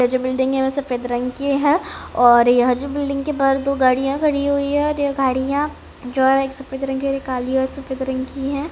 यह जो बिल्डिंग है सफेद रंग की है और यह बिल्डिंग के पास जो दो गाड़ियां खड़ी हुई है यह गाड़ियां जो है कि एक सफेद रंग की और एक काली और सफेद रंग की है।